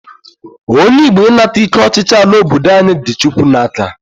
Onye Igbo ịnata ike ọchịchị ala obodo anyị dị Chukwu n'aka